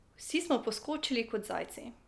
Vsi smo poskočili kot zajci.